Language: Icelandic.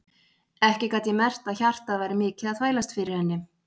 Ekki gat ég merkt að hjartað væri mikið að þvælast fyrir henni.